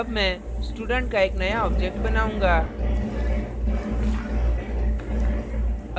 अब मैं student का एक अन्य object बनाऊँगा